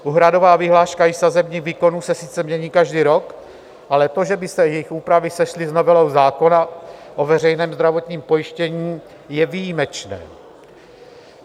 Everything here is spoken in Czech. Úhradová vyhláška i sazebník výkonů se sice mění každý rok, ale to, že by se jejich úpravy sešly s novelou zákona o veřejném zdravotním pojištění, je výjimečné.